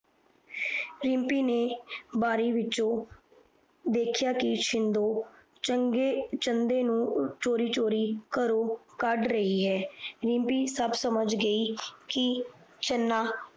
ਰਿਮਪੀ ਨੇ ਬਾਰੀ ਵਿੱਚੋ ਦੇਖਿਆ ਕਿ ਸ਼ੀਨਦੋ ਚੰਦੋ ਨੂੰ ਚੋਰੀ ਚੋਰੀ ਘਰੋ ਕਾਂਡ ਰਹੀ ਹੈ ਰਿਮਪੀ ਸਾਬ ਸਮਜ ਗਯੀ ਕਿ ਚਾਨਣਾ